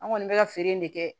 An kɔni bɛ ka feere in de kɛ